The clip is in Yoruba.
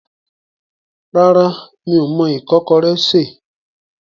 Rárá, mi ò mọ ìkọ́kọrẹ́ sè.